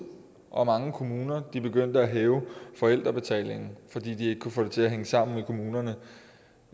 og mange kommuner begyndte at hæve forældrebetalingen fordi de ikke kunne få det til at hænge sammen i kommunerne